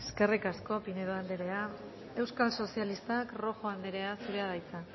eskerrik asko pinedo anderea euskal sozialistak rojo anderea zurea da hitza